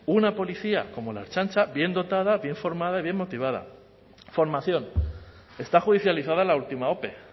una policía como la ertzaintza bien dotada bien formada y bien motivada formación está judicializada la última ope